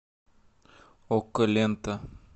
окко лента